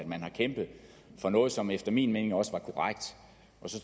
man har kæmpet for noget som efter min mening også var korrekt